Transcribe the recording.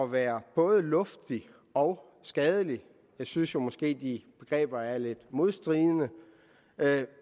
være både luftig og skadelig jeg synes måske at de begreber er lidt modstridende